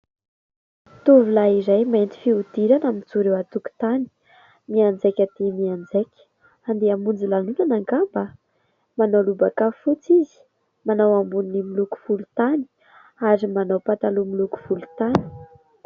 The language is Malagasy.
Tovolahy iray mainty fihodirana mijoro eo an-tokontany. Mianjaika dia mianjaika, andeha hamonjy lanonana angamba? Manao lobaka fotsy izy, manao amboniny miloko volontany, ary manao pataloha miloko volontany.